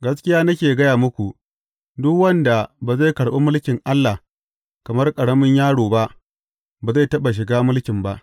Gaskiya nake gaya muku, duk wanda ba zai karɓi mulkin Allah kamar ƙaramin yaro ba, ba zai taɓa shiga mulkin ba.